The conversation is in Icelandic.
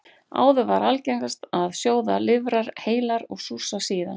Áður var algengast að sjóða lifrar heilar og súrsa síðan.